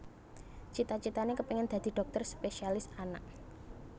Cita citané kepéngin dadi dhokter spésialis anak